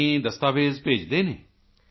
ਯਾਨੀ ਦਸਤਾਵੇਜ਼ ਭੇਜਦੇ ਹਨ